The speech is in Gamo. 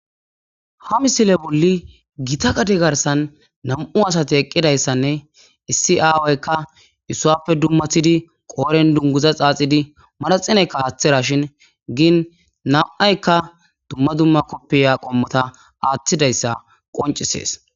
ha misile bolli gita gade garsan nam7u asate eqqidayssanne issi aawoykka issuappe dummathidi qooren dunguza xaaxidi madaxineykka aaththera shin giin nam7aykka dumma dumma koppiya qommota aaththidayssa qoncisees